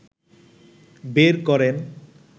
বের করেন